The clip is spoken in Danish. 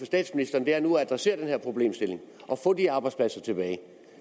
statsministeren er nu at adressere den her problemstilling og få de arbejdspladser tilbage